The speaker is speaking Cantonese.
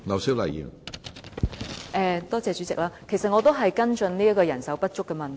主席，其實我也是跟進人手不足的問題。